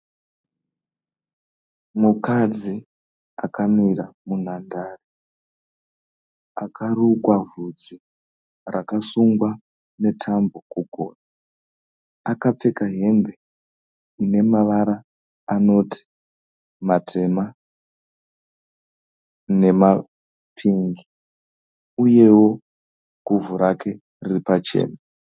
Mukadzi akamira munhandare. Akarukwa vhudzi rakasungwa netambo kugotsi. Akapfeka hembe inemavara anoti matema nemapingi. Uyewo guvhi rake riripachena.